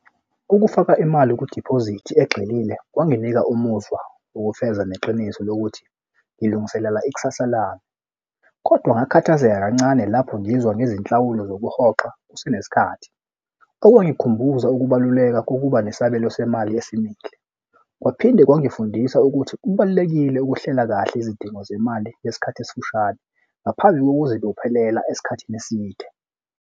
Ukufaka imali kudiphozithi egxilile kwanginika umuzwa ukufeza neqiniso lokuthi ngilungiselela ikusasa labo kodwa ngakhathazeka kancane lapho ngizwa ngezinhlawulo zokuhoxa kusenesikhathi okwangikhumbuza ukubaluleka kokuba nesabelo semali esimile. Kwaphinde kwangifundisa ukuthi kubalulekile ukuhlela kahle izidingo zemali ngesikhathi esifushane ngaphandle kokuzibophelela esikhathini eside.